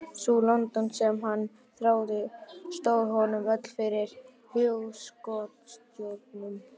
Sú London sem hann þráði stóð honum öll fyrir hugskotssjónum.